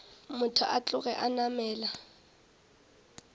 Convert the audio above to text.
motho a tloge a namela